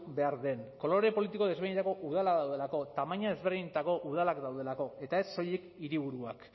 behar den kolore politiko desberdinetako udalak daudelako tamaina ezberdinetako udalak daudelako eta ez soilik hiriburuak